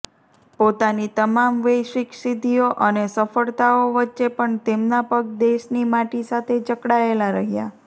પોતાની તમામ વૈશ્વિક સિદ્ધિઓ અને સફળતાઓ વચ્ચે પણ તેમના પગ દેશની માટી સાથે જકડાયેલ રહ્યાં